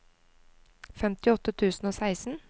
femtiåtte tusen og seksten